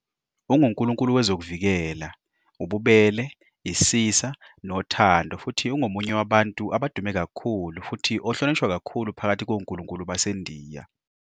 Ungunkulunkulu wezokuvikela, ububele, isisa, nothand futhi ungomunye wabantu abadume kakhulu futhi ohlonishwa kakhulu phakathi konkulunkulu baseNdiya.